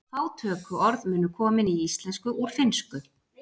Fá tökuorð munu komin í íslensku úr finnsku.